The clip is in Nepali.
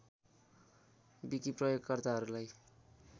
विकि प्रयोगकर्ताहरूलाई